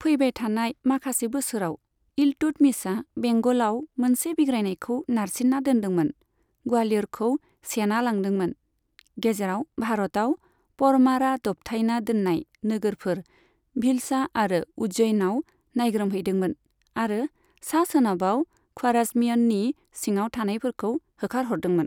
फैबाय थानाय माखासे बोसोराव, इल्तुतमिशआ बेंगलाव मोनसे बिग्रायनायखौ नारसिन्ना दोन्दोंमोन, ग्वालियरखौ सेना लादोंमोन, गेजेरआव भारतआव परमारा दबथायना दोन्नाय नोगोरफोर, भिलसा आरो उज्जैनाव नायग्रोमहैदोंमोन आरो सा सोनाबआव ख्वाराजमियननि सिङाव थानायफोरखौ होखारहरदोंमोन।